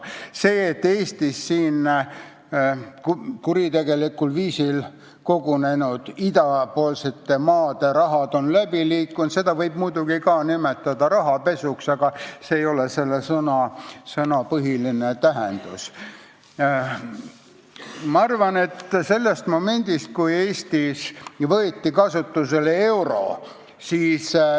Seda, et Eestist on idapoolsete maade kuritegelikul viisil kogunenud raha läbi liikunud, võib muidugi ka rahapesuks nimetada, aga see ei kajasta selle sõna põhilist tähendust.